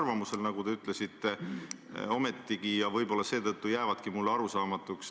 Ma mõtlen ikka sellele pildile , see oli, kui ma ei eksi, 2017 see teie valimisreklaam.